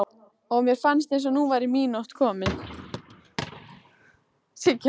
og mér fannst eins og nú væri mín nótt komin.